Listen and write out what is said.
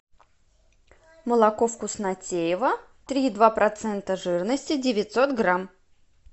молоко вкуснотеево три и два процента жирности девятьсот грамм